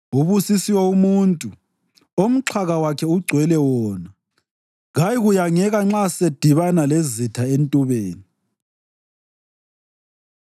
Ubusisiwe umuntu omxhaka wakhe ugcwele wona. Kayikuyangeka nxa sebedibana lezitha entubeni.